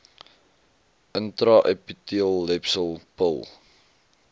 intra epiteelletsel pil